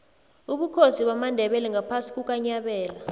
ubukhosi bamandebele ngaphasi kukanyabela